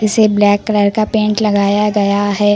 से black colour का paint लगाया गया है।